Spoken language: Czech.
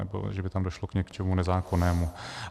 Nebo že by tam došlo k něčemu nezákonnému.